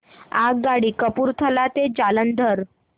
आगगाडी कपूरथला ते जालंधर